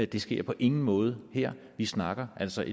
det sker på ingen måde her vi snakker altså